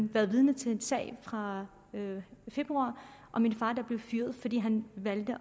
været vidne til en sag fra februar om en far der blev fyret fordi han valgte